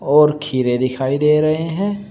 और खीरे दिखाई दे रहे हैं।